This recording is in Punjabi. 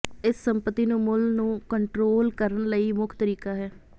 ਇਸ ਸੰਪਤੀ ਨੂੰ ਮੁੱਲ ਨੂੰ ਕੰਟਰੋਲ ਕਰਨ ਲਈ ਮੁੱਖ ਤਰੀਕਾ ਹੈ